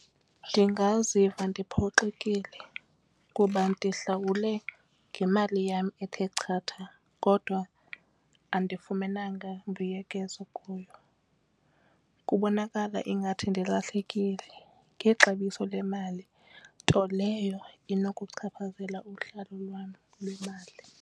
Ndingaziva ndiphoxekile kuba ndihlawule ngemali yam ethe chatha kodwa andifumenanga mbuyekezo kuyo kubonakala ingathi ndilahlekile ngexabiso lemali nto leyo inokuchaphazela uhlawulo lwam lwemali.